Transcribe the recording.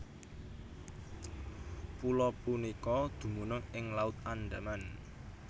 Pulo punika dumunung ing Laut Andaman